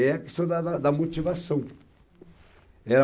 É a questão da da da da motivação. Eh,